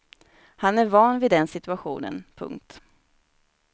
Han är van vid den situationen. punkt